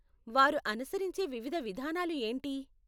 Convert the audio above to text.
వారు అనుసరించే వివిధ విధానాలు ఏంటి?